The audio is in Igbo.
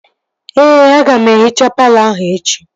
Ee, aga m ehichaa palọ ahụ echi